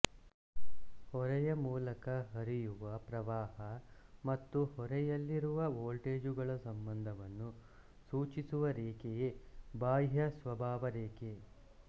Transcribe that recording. ಹೊರೆಯ ಮೂಲಕ ಹರಿಯುವ ಪ್ರವಾಹ ಮತ್ತು ಹೊರೆಯಲ್ಲಿರುವ ವೋಲ್ಟೇಜುಗಳ ಸಂಬಂಧವನ್ನು ಸೂಚಿಸುವ ರೇಖೆಯೇ ಬಾಹ್ಯ ಸ್ವಭಾವರೇಖೆ